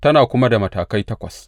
Tana kuma da matakai takwas.